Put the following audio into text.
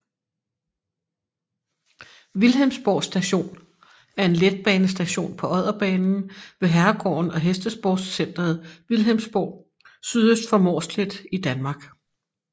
Vilhelmsborg Station er en letbanestation på Odderbanen ved herregården og hestesportscenteret Vilhelmsborg sydøst for Mårslet i Danmark